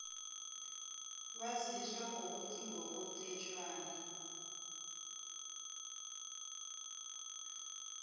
waziswa ukuthi ngokomthetjhwana